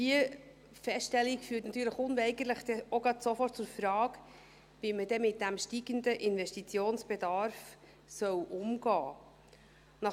Diese Feststellung führt natürlich unweigerlich auch sofort zur Frage, wie man denn mit diesem steigenden Investitionsbedarf umgehen soll.